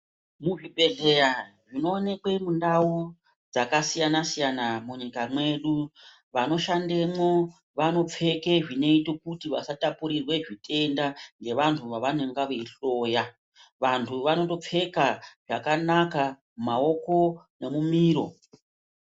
Muzvibhedhleya zvinoonekwe Munda dzakasiyana siyana munyika mwedu vanoshandemwo vanopfeke zvinoite kuti vasatapurirwe zvitenda ngevanhu vavanenga veihloya vantu vanondopfeka zvakanaka mumaoko nemumiro.